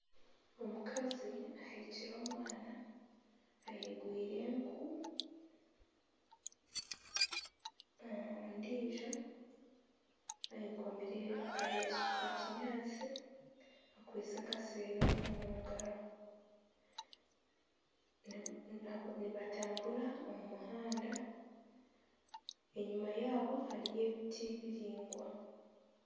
Omukazi aheekire omwana ayegwiire enku ondiijo ayekomire akareesu ka kinyatsi akwaitse akasero omungaro nibatambura omu muhanda enyuma yaabo hariyo ebiti biraingwa.